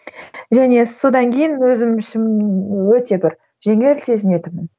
және содан кейін өзім ішім өте бір жеңіл сезінетінмін